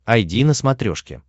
айди на смотрешке